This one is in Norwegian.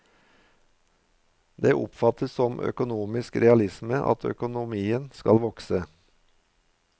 Det oppfattes som økonomisk realisme at økonomien skal vokse.